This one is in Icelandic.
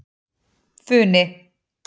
Funi